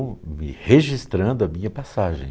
me registrando a minha passagem.